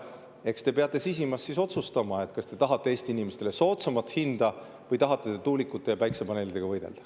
Eks te peate sisimas otsustama, kas te tahate Eesti inimestele soodsamat hinda või tahate tuulikute ja päikesepaneelidega võidelda.